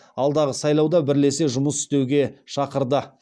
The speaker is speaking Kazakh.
алдағы сайлауда бірлесе жұмыс істеуге шақырды